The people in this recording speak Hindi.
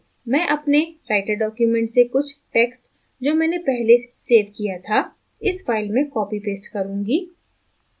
मैं अपने writer document से कुछ text जो मैंने पहले सेव किया था इस फाइल में copy paste करुँगी